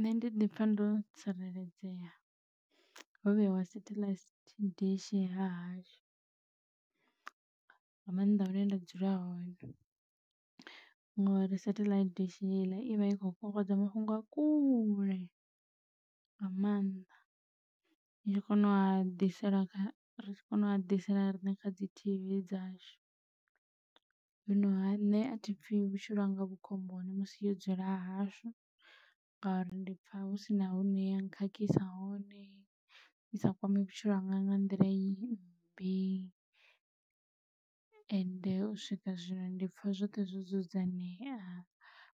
Nṋe ndi ḓi pfha ndo tsireledzea ho vheyiwa satellite dishi hahashu nga mannḓa hune nda dzula hone ngori satellite dishi heiḽa ivha i kho kokodza mafhungo a kule nga maanḓa ya kona u a ḓisela ri kone u a ḓisela riṋe kha dzi tv dzashu. Zwino ha nṋe athipfhi vhutshilo hanga vhu khomboni musi yo dzula hahashu ngauri ndi pfha husina hune ya khakhisa hone i sa kwame vhutshilo hanga nga nḓila mmbi ende u swika zwino ndi pfha zwoṱhe zwo dzudzanyea